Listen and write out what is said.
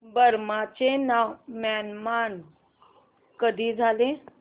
Burma चे नाव Myanmar कधी झाले